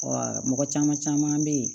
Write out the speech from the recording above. mɔgɔ caman caman bɛ yen